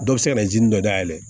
Dɔ bɛ se ka na dɔ dayɛlɛ